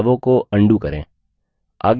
बदलावों को undo करें